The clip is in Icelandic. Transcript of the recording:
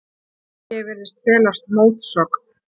Hér virðist felast mótsögn.